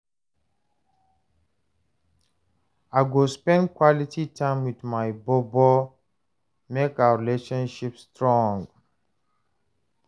I go spend quality time wit my bobo make our relationship strong